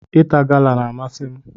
Ịta gala n'amasi m